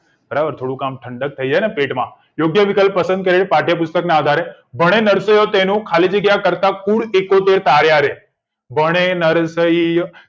બરાબર થોડું ક ઠંડક થઇ છે પેટમાં યોગ્ય વિકલ્પ પસંદ કરી પાઠ્યપુસ્તક આધારે ભણે નરસૈયો ખાલી જગ્યા કરતા કુળ એકોતેર તાર્યારે ભણે નરસૈયો